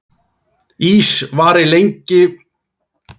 Ís var lengi vel munaður og eingöngu borðaður við hátíðleg tækifæri.